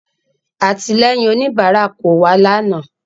Àtìlẹ́yìn òníbárà ò wá lànàá